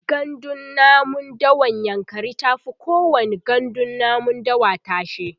gandun namun dawan yankari tafi kowani gandun namun dawa tashe